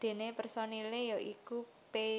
Déné personilé ya iku Pay